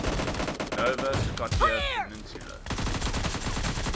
nova scotia peninsula